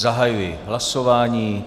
Zahajuji hlasování.